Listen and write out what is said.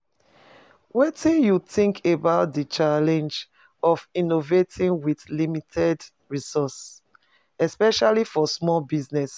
Wetin you think about di challenge of innovating with limited resources, especially for small business?